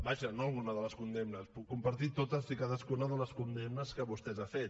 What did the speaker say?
vaja no algunes de les condemnes puc compartit totes i cadascuna de les condemnes que vostè ha fet